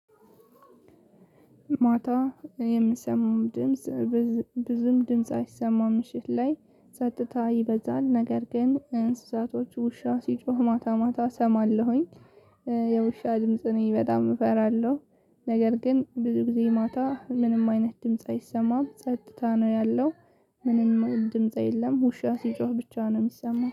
ማታ የምሰማውን ድምጽ ብዙም ድምጽ አይሰማም። ምሽት ላይ ሰጥታ ይበዛል ነገር ግን እንስሳቶች ውሻ ሲጮህ ማታ ማታ እሰማለሁኝ። የውሻ ድምጽ እኔ በጣም እፈራለሁ። ነገር ግን ብዙ ጊዜ ማታ ምንም አይነት ድምጽ አይሰማም ጸጥታ ነው ያለው። ምንም ድምጽ የለም ውሻ ሲጮህ ብቻ ነው የሚሰማው